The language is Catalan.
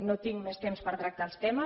no tinc més temps per tractar els temes